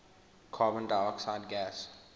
carbon dioxide gas